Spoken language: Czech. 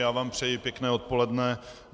Já vám přeji pěkné odpoledne.